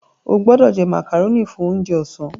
O gbódò jé macaroni fún oúnjẹ ọsán!